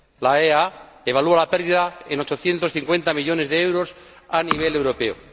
La AEA evalúa la pérdida en 850 millones de euros a nivel europeo.